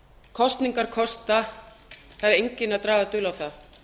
kosningar kosta það er enginn að draga dul á það